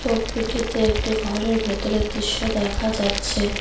ছবিটিতে একটি ঘরের ভেতরের দৃশ্য দেখা যাচ্ছে।